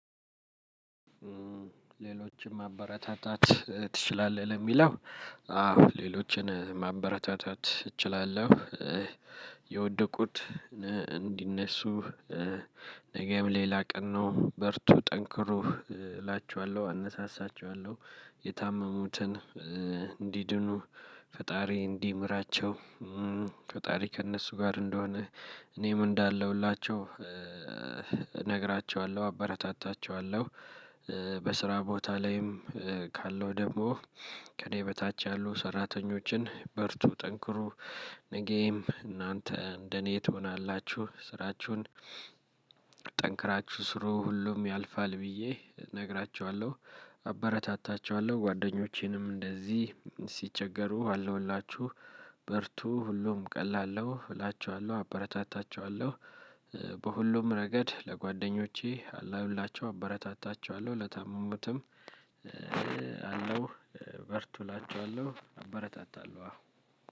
ሌሎችን ማበረታታት ትችላለህ ለሚለው? አዎ ሌሎችን ማበረታታት እችላለሁ የወደቁት እንዲነሱ ነገም ሌላ ቀን ነው በርቱ ጠንክሩ እላችኋለሁ አነሳሳችኋለሁ የታመሙትን እንዲድኑ ፈጣሪ እንዲምራቸው ፈጣሪ ከእነሱ ጋር እንደሆን እኔም እንዳለሁላቸው እነግራቸዋለሁ አበረታታቸዋለሁ። በስራ ቦታ ላይም ካለው ደግሞ ከእኔ በታች ያሉ ሰራተኞችን በርቱ ጠንክሩ ነጌም እናንተ እንደኔ ትሆናላችሁ ስራችሁን ጠንክራችሁ ስሩ ሁሉም ያልፋል ብዬ እነግራችኋለሁ አበረታታችኋለሁ። ጓደኞቼንም እንደዚህ ሲቸገሩ አለውላችሁ በርቱ ሁሉም ቀላል ነው እላችኋለሁ አበረታታቸዋለሁ። በሁሉም ረገድ ለጓደኞቼ አላሁላቸው አበረታታቸዋለሁ ለታመሙትም አለው በርቱ እላቸዋለሁ አበረታታለሁ። አዎ